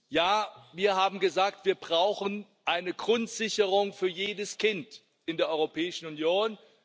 Ja, wir haben gesagt Wir brauchen eine Grundsicherung für jedes Kind in der Europäischen Union.